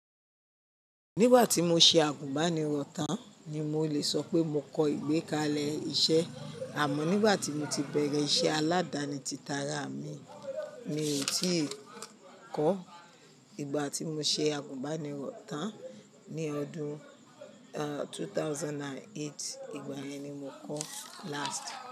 Nígbà tí mo ṣe àgùnbánirọ̀ tán ni mo lè sọ pé mo kọ ìgbẹ́kalẹ̀ iṣẹ́ àmọ́ nígbà tí mo ti bẹ̀rẹ̀ iṣẹ́ aládani títara mi mi ò tíì kọ́. Ìgbà tí mo ṣe àgùnbánirọ̀ tán ní ọdún 2008, ìgbà yẹn ni mo kọ́ last.